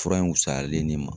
Fura in wusalen ne ma